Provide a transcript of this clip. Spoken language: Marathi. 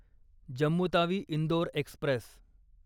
जम्मू तावी इंदोर एक्स्प्रेस